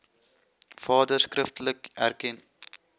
vader skriftelik erken